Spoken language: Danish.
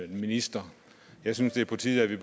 minister jeg synes det er på tide at vi